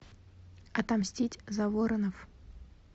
отомстить за воронов